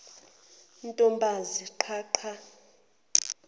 ntombazi qha qha